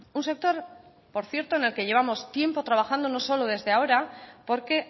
un sector por cierto en el que llevamos tiempo trabajando no solo desde ahora porque